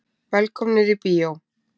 Velkomnir í bíó.